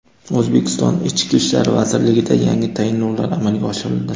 O‘zbekiston ichki ishlar vazirligida yangi tayinlovlar amalga oshirildi.